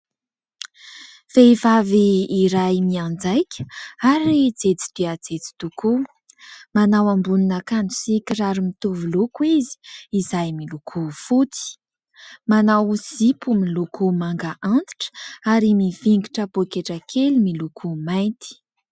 Vehivavy iray mianjaika ary jejo dia jejo tokoa . Manao ambonina akanjo sy kiraro mitovy loko izy, izay miloko fotsy . Manao zipo miloko manga antitra, ary mivingitra poketra kely miloko mainty .